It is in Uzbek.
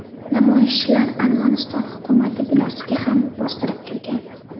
Namoyishchilar Armaniston hukumati binosiga ham bostirib kirgan.